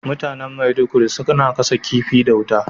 Mutanen Maiduguri suna gasa kifi da wuta.